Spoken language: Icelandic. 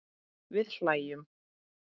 Við hlæjum.